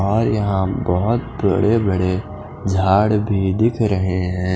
और यहाँ बोहोत बड़े बड़े झाड़ भी दिख रहे हैं ।